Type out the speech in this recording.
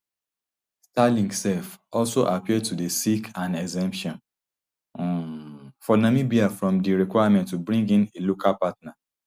starlink um also appear to dey seek an exemption um for namibia from di requirement to bring in a local partner